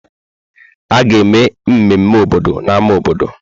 A ga-eme mmemme obodo na ámá obodo.